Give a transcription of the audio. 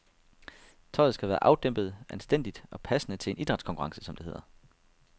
Tøjet skal være afdæmpet, anstændigt og passende til en idrætskonkurrence, som det hedder.